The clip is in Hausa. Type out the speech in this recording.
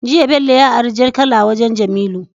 Jiya bello ya ari jar kala wajan jamilu